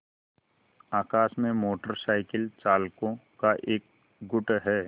आकाश में motorcycle चालकों का एक गुट है